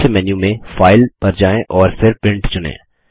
मुख्य मेन्यू में फाइल पर जाएँ और फिर प्रिंट चुनें